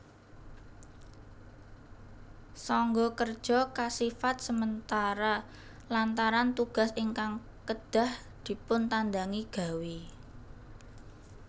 Sangga Kerja kasifat sementara lantaran tugas ingkang kedah dipuntandangi gawé